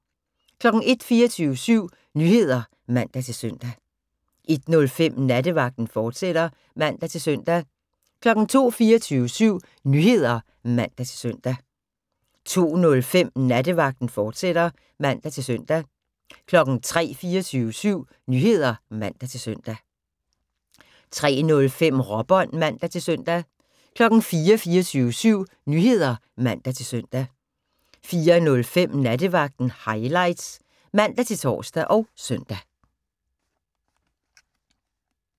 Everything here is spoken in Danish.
01:00: 24syv Nyheder (man-søn) 01:05: Nattevagten, fortsat (man-søn) 02:00: 24syv Nyheder (man-søn) 02:05: Nattevagten, fortsat (man-søn) 03:00: 24syv Nyheder (man-søn) 03:05: Råbånd (man-søn) 04:00: 24syv Nyheder (man-søn) 04:05: Nattevagten Highlights (man-tor og søn)